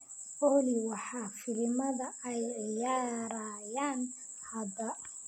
olly waxa filimada ay ciyaarayaan hadda